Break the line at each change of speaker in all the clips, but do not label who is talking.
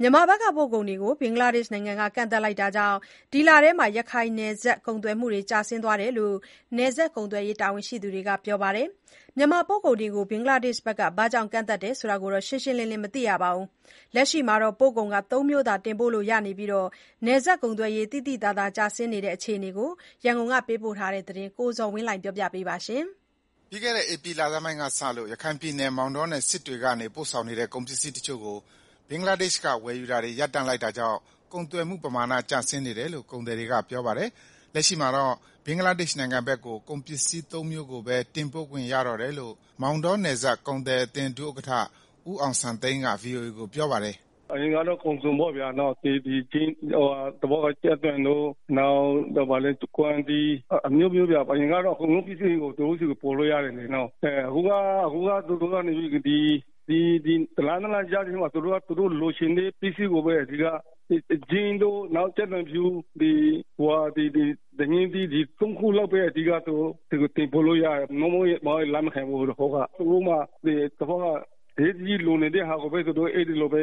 မြန်မာဘက်က ပို့ကုန်တွေကို ဘင်္ဂလားဒေရှ့် နိုင်ငံက ကန့်သတ်လိုက်တာကြောင့် ဒီလထဲ ရခိုင်နယ်စပ် ကုန်သွယ်မှုတွေ ကျဆင်းသွားတဲ့အကြောင်း နယ်စပ်ကုန်သွယ်ရေး တာဝန်ရှိသူတွေက ပြောပါတယ်။ မြန်မာပို့ကုန်တွေကို ဘင်္ဂလားဒေ့ရှ်က ဘာကြောင့် ကန့်သတ်တယ် ဆိုတာတော့ ရှင်းရှင်းလင်းလင်း မသိရပါဘူး။ လက်ရှိမှာတော့ ပို့ကုန်သုံးမျိုးသာ တင်ပို့လို့ရပြီး နယ်စပ်ကုန်သွယ်ရေး သိသိသာသာ ကျဆင်းနေတဲ့ အကြောင်း ရန်ကုန်ကလာတဲ့ သတင်းကို ကိုဇော်ဝင်းလှိုင် က တင်ပြပေးပါမယ်။
ပြီးခဲ့တဲ့ ဧပြီလဆန်းပိုင်းကစလို့ ရခိုင်ပြည်နယ် မောင်တောင်နဲ့ စစ်တွေကနေ ပို့ဆောင်နေတဲ့ ကုန်ပစ္စည်းတချို့ကို ဘင်္ဂလားဒေ့ရှ်က ဝယ်ယူတာတွေ ရပ်တန့်လိုက်တာကြောင့် ကုန်သွယ်မှုပမာဏ ကျင်ဆင်းနေတယ်လို့ ကုန်သည်တွေကပြောပါတယ်။ လက်ရှိမှာတော့ ဘင်္ဂလားဒေရှ့် နိုင်ငံဘက်ကို ကုန်ပစ္စည်းသုံးမျိုးကိုပဲ တင်ပို့ခွင့်ရတော့တယ်လို့ မောင်တောနယ်စပ် ကုန်သည်အသင်း ဒုဥက္ကဋ္ဌ ဦးအောင်စံသိန်းက ဗွီအိုအေကိုပြောပါတယ်။ “ အရ
င်ကတော့ ကုန်စုံပေါ့ဗျာ ကြက်သွန်တို့ နောက် ကွမ်းသီးအစုံပေါ့ဗျာ အကုန်လုံး သူတို့ဆီ ကို ပို့လို့ရတယ်၊ ဒီတလ နှစ်လ ကြားထဲမှာ သူတို့ လိုချင်တဲ့ ပစ္စည်းကိုပဲ အဓိက မှာတာ၊ အခုလောလောဆယ်ကတော့ ဂျင်းတို့ ကြက်သွန်ဖြူ ဒညင်းသီး ဒီ ၃ခုလောက်ပဲ အဓိကတင်ပို့ လို့ရတယ်၊ မဟုတ်ရင်လက်မခံဘူး ဟိုတခေါက်က သူတို့မှာ အရေးတကြီးလိုနေ တဲ့ဟာကိုပဲ အဲဒီလိုပဲ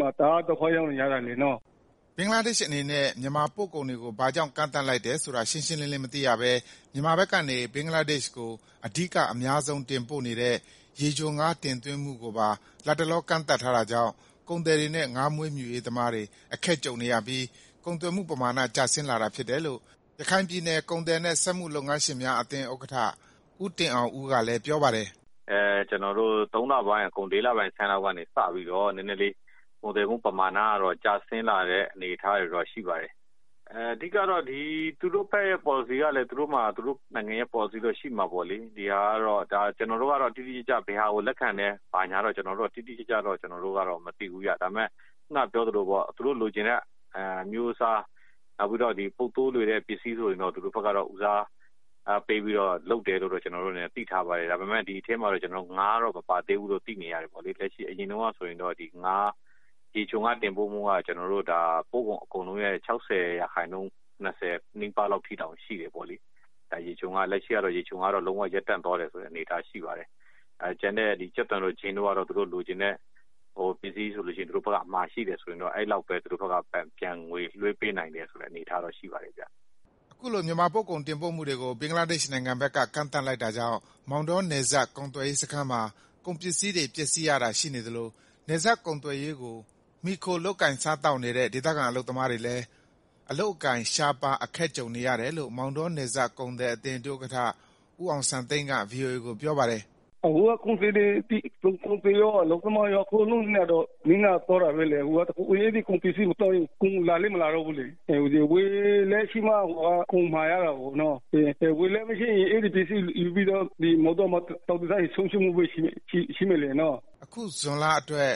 မှာတာ။ ဒီဖက်မှာ တအားဒုက္ခရောက်နေကြတာနော်။ ” ဘင်္ဂလားဒေရှ့် အနေနဲ့ မြန်မာပို့ကုန်တွေကို ဘာကြောင့် ကန့်သတ်လိုက်တယ်ဆိုတာ ရှင်းရှင်းလင်းလင်း မသိရဘဲ မြန်မာဘက်ကနေ ဘင်္ဂလားဒေ့ရှ်ကို အဓိက အများဆုံး တင်ပို့နေတဲ့ ရေချိုငါး တင်သွင်းမှုကိုပါ လတ်တလော ကန့်သတ်ထားတာကြောင့် ကုန်သည်တွေနဲ့ ငါးမွေးမြူရေးသမားတွေ အခက်ကြုံနေရပြီး ကုန်သွယ်မှု ပမာဏ ကျဆင်းလာတာဖြစ်တယ်လို့ ရခိုင်ပြည်နယ် ကုန်သည်နဲ့ စက်မှုလက်မှု လုပ်ငန်းရှင်များအသင်း ဥက္ကဋ္ဌ ဦးတင်အောင်ဦးကလည်း ပြောပါတယ်
။ “ ကျနော်တို့ ၃လပိုင်းအကုန် ၄လဆန်းလောက်ကနေ နယ်စပ်ကုန်သွယ်မှုပမာဏတွေ ကျဆင်းလာတဲ့ အနေအထားရှိပါတယ်။ သူတို့ဘက်က ပေါ်လစီကလည်း သူတို့မှာ သူတို့နိုင်ငံရဲ့ ပေါ်လစီရှိမှာပေါ့လေ။ ကျနော်တို့က တော့ တိတိကျကျ ဘယ်ဟာကို လက်ခံတယ်၊ ဘာညာတော့ တိတိကျကျ မသိဘူးဗျာ။ ဒါပေမဲ့ ခုနက ပြောသလိုပေါ့ သူတို့လိုချင်တဲ့ အမျိုးအစား နောက်ပြီးတော့ ပုပ်သိုး လွယ်တဲ့ပစ္စည်း ဆိုရင်တော့ ဦးစားပေးပြီး လုပ်တယ်လို့တော့ ကျနော်တို့ အနေနဲ့ သိထားပါတယ်။ ဒါပေမဲ့ ဒီထဲမှာ ငါးတော့ မပါသေးဘူးလို့ သိနေရတယ်ပေါ့လေ။ အရင်တုန်းကဆိုရင် ရေချိုငါး တင်ပို့မှုက ပို့ကုန်ရာခိုင်နှုန်းရဲ့ ၆၀ ရာခိုင်နှုန်းနီးပါးလောက် အထိရှိတယ်ပေါ့လေ လက်ရှိကတော့ ရေချိုငါး တင်ပို့မှုကလည်း လုံးဝ ရပ်တန့်သွားတဲ့ အနေအထားရှိပါတယ်။ ကျန်တဲ့ ကြက်သွန်တို့ ဂျင်းတို့ကတော့ သူတို့လိုချင််တဲ့ ပစ္စည်းဆို လို့ရှိရင် သူတို့ဖက်က အမှာရှိတယ်ဆိုရင်တော့ အဲလောက်ပဲသူတို့ကငွေလွှဲ ပေးနိုင်တဲ့ အနေအထားတော့ရှိပါတယ်ဗျာ။
” အခုလို မြန်မာပို့ကုန်တင်ပို့မှုတွေကို ဘင်္ဂလားနိုင်ငံဘက်က ကန့်သတ်လိုက်တာကြောင့် မောင်တော နယ်စပ်ကုန်သွယ်ရေး စခန်းမှာ ကုန်ပစ္စည်းတွေ ပျက်စီးရတာ ရှိနေသလို နယ်စပ်ကုန်သွယ်ရေး ကို မှီခိုလုပ်ကိုင်စားသောက်နေတဲ့ ဒေသခံ အလုပ်သမားတွေလည်း အလုပ်အကိုင် ရှားပါး အခက်ကြုံနေရတယ်လို့ မောင်တောနယ်စပ် ကုန်သည်အသင်း ဒုဥက္ကဋ္ဌ ဦးအောင်စံသိန်းက ဗွီအိုအေကို ပြောပါတယ်။
“ အခုကကုန်သည်ရော အလုပ်သမားရော အကုန်လုံးနစ်နာသွားတာပဲလေ အခုက အဲဒီကုန် ပစ္စည်းမသွားရင် ကုန်လည်းမလာတော့ဘူးလေ၊ ဝယ်လက်ရှိမှ ကုန်မှာရတာကိုနော် ဝယ်လက် မရှိရင် ကုန်ပစ္စည်းမှာ ပြီးတော့ မောင်တောမှာ လှောင်ထားရင် ဆုံးရှုံးမှုပဲရှိမယ်လေနော်။
” အခု ဇွန်လ အတွက်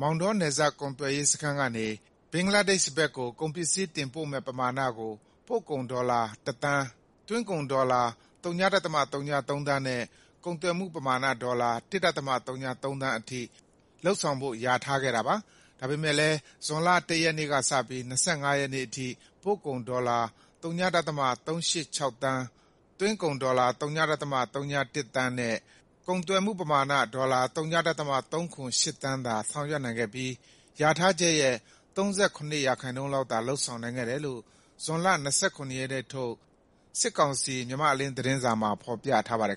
မောင်တော နယ်စပ်ကုန်သွယ်ရေး စခန်းကနေ ဘင်္ဂလားဒေရှ့်ဘက်ကို ကုန်ပစ္စည်း တင်ပို့မယ့်ပမာဏကို ပို့ကုန်ဒေါ်လာ တသန်း၊ သွင်းကုန်ဒေါ်လာ ၀.၀၃ သန်းနဲ့ ကုန်သွယ်မှုပမာဏ ဒေါ်လာ ၁.၀၃ သန်းအထိ လုပ်ဆောင်ဖို့ လျာထားခဲ့တာပါ။ ဒါပေမဲ့ လည်း ဇွန်လ ၁ ရက်နေ့ကစပြီး ၂၅ ရက်နေ့အထိ ပို့ကုန် ဒေါ်လာ ၀.၃၈၆ သန်း၊ သွင်းကုန် ဒေါ်လာ ၀.၀၁ သန်းနဲ့ ကုန်သွယ်မှုပမာဏ ဒေါ်လာ ၀.၃၇၈ သန်း သာ ဆောင်ရွက်နိုင်ခဲ့ပြီး လျာထားချက်ရဲ့ ၃၇ % လောက်သာ လုပ်ဆောင်နိုင်ခဲ့တယ်လို့ ဇွန်လ ၂၇ ရက်နေ့ထုတ် စစ်ကောင်စီ မြန်မာ့အလင်း သတင်းစာမှာ ဖော်ပြထားပါတယ်